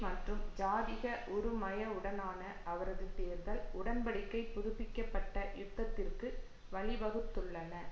மற்றும் ஜாதிக உறுமயவுடனான அவரது தேர்தல் உடன் படிக்கை புதுப்பிக்க பட்ட யுத்தத்திற்கு வழிவகுத்துள்ளன